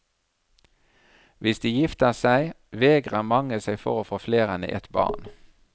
Hvis de gifter seg, vegrer mange seg for å få flere enn ett barn.